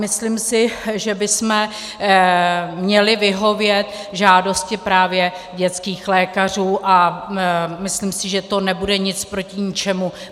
Myslím si, že bychom měli vyhovět žádosti právě dětských lékařů, a myslím si, že to nebude nic proti ničemu.